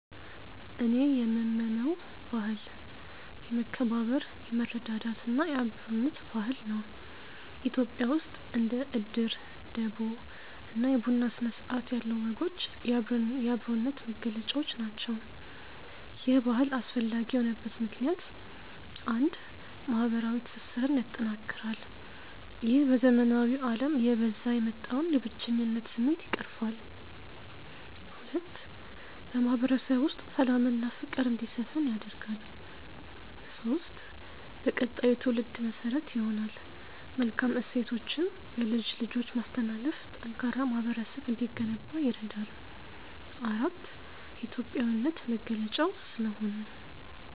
እኔ የምመመው ባህል፦ የመከባበር፣ የመረዳዳት እና የአብሮነት ባህል ነው። ኢትዮጵያ ውስጥ እንደ እድር፣ ደቦ እና የቡና ሥነ-ሥርዓት ያሉ ወጎች የአብሮነት መገለጫዎች ናቸው። ይህ ባህል አስፈላጊ የሆነበት ምክንያት፦ 1. ማህበረዊ ትስስርን ያጠናክራል፦ ይህ በዘመናዊው አለም እየበዛ የወጣውን የብቸኝነት ስሜት ይቀርፋል። 2. በማህበረሰቡ ውስጥ ሰላምና ፍቅር እንዲሰፍን ያደርጋል። 3. በቀጣዩ ትውልድ መሠረት ይሆናል፦ መልካም እሴቶችን በልጅ ልጆች ማስተላለፍ ጠንካራ ማህበረሰብ እንዲገነባ ይረዳል። 4. የኢትዮጵያዊነት መገለጫው ስለሆነ።